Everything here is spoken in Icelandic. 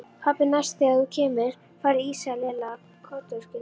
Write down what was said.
Pabbi, næst þegar þú kemur færðu ís sagði Lilla kotroskin.